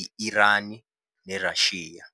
i - Irani, neRashiya.